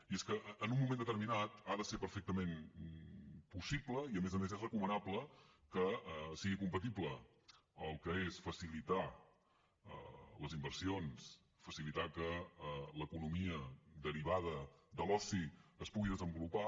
i és que en un moment determinat ha de ser perfectament possible i a més a més és recomanable que sigui compatible el que és facilitar les inversions facilitar que l’economia derivada de l’oci es pugui desenvolupar